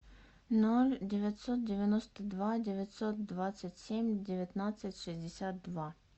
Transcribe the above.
ноль девятьсот девяносто два девятьсот двадцать семь девятнадцать шестьдесят два